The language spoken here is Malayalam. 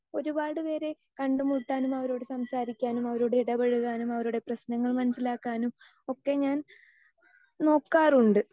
സ്പീക്കർ 2 ഒരുപാട് പേരെ കണ്ടുമുട്ടാനും അവരോട് സംസാരിക്കാനും അവരോട് ഇടപഴകാനും അവരുടെ പ്രശ്നങ്ങൾ മനസ്സിലാക്കാനും ഒക്കെ ഞാൻ നോക്കാറുണ്ട്.